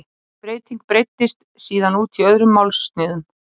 Þessi breyting breiddist síðan út í öðrum málsniðum.